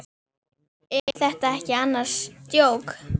Er þetta ekki annars djók?